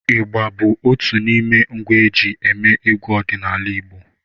ịgbá bụ otù n’ime ngwá eji émé egwu ọdịnala Igbo